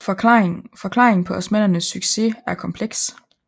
Forklaringen på Osmannernes succes er kompleks